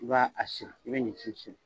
I b'a a siri i be ɲinti siri